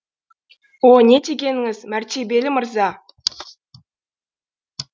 о не дегеніңіз мәртебелі мырза